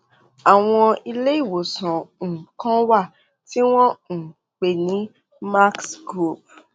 àwọn ilé ìwòsàn um kan wà tí wọn um ń pè ní max group